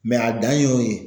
a dan ye o ye.